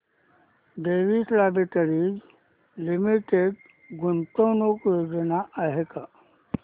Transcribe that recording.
Divi's laboratories limited गुंतवणूक योजना दाखव